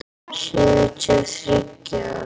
Sjötíu og þriggja ára!